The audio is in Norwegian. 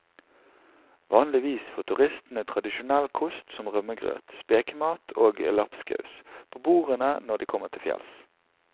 Vanligvis får turistene tradisjonell kost som rømmegrøt, spekemat og lapskaus på bordene når de kommer til fjells.